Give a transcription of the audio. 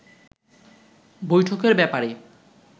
বৈঠকের ব্যাপারে